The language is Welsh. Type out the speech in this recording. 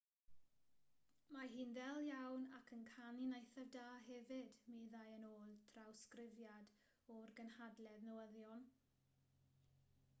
mae hi'n ddel iawn ac yn canu'n eithaf da hefyd meddai yn ôl trawsgrifiad o'r gynhadledd newyddion